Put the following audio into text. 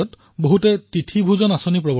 বহু ৰাজ্যত তিথি ভোজন অভিযান কৰা হয়